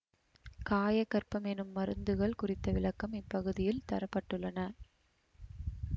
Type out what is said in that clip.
காயகற்பம் எனும் மருந்துகள் குறித்த விளக்கம் இப்பகுதியில் தர பட்டுள்ளன